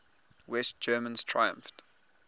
west germans triumphed